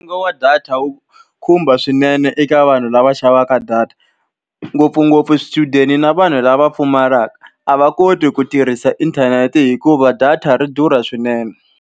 Nxavo wa data wu khumba swinene eka vanhu lava xavaka data. Ngopfungopfu swichudeni na vanhu lava pfumalaka. A va koti ku tirhisa inthanete hikuva data ri durha swinene.